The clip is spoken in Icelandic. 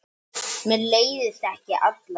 Mér leiðist ekki alla jafna.